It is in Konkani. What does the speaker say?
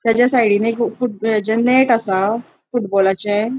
तचा साइडीन एक हेजे नेट असा फुटबॉलाचे --